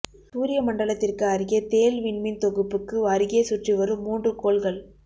சூரிய மண்டலத்திற்கு அருகே தேள் விண்மீன் தொகுப்புக்கு அருகே சுற்றி வ்ரும் மூன்று கோள்கள்